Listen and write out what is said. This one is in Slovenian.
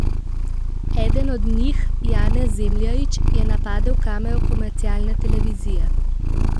Eden od njih, Janez Zemljarič, je napadel kamero komercialne televizije.